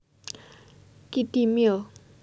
Kiddie Meal